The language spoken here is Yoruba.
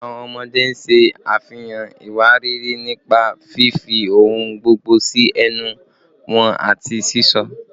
Awọn ọmọde ṣe afihan iwariiri nipa fifi ohun gbogbo si ẹnu wọn ati sisọ